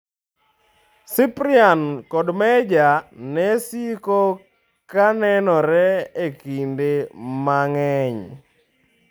Cyprian kod Meja ne siko ka kanenore e kinde mang'eny.